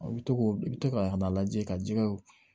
I bɛ to k'o i bɛ to ka a lajɛ ka ji kɛ